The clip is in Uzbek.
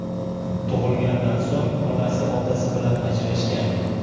tug‘ilgandan so‘ng onasi otasi bilan ajrashgan.